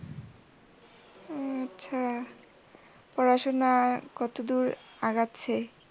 উম আচ্ছা। পড়াশুনা কতদূর আগাচ্ছে?